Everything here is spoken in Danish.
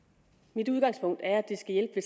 mit udgangspunkt er at det skal hjælpe